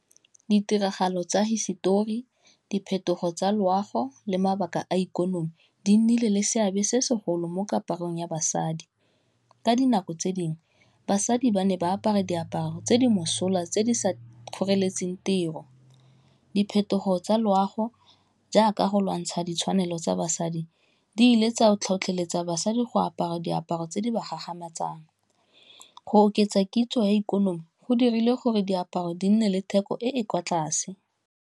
Ditiragalo tsa hisetori, diphetogo tsa loago, le mabaka a ikonomi, di nnile le seabe se segolo mo kaparong ya basadi. Ka dinako tse dingwe basadi ba ne ba apara diaparo tse di mosola, tse di sa kgoreletsang tiro. Diphetogo tsa loago, jaaka go lwantsha ditshwanelo tsa basadi, di ile tsa tlhotlheletsa basadi go apara diaparo tse di ba gagamatsang. Go oketsa kitso ya ikonomi go dirile gore diaparo di nne le theko e e kwa tlase.